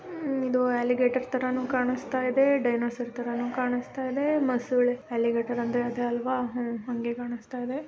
ಹಮ್ ಇದು ಆಲಿಗೆಟರ್ ತರನು ಕಾಣಸ್ತ ಇದೆ ಡೈನೋಸಾರ್ ತರನು ಕಾಣಸ್ತ ಇದೆ ಮೊಸುಳೆ ಆಲಿಗೆಟರ್ ಅಂದ್ರೆ ಅದೆ ಅಲ್ವಾ ಹೂನ್ ಅಂಗೆ ಕಾಣಸ್ತ ಇದೆ.